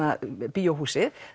bíóhúsið